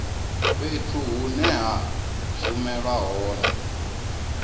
fhethu hune ha shumelwa hone